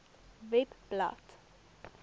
webblad